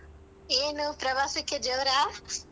ಏನು ಪ್ರವಾಸಕ್ಕೆ ಜೋರ?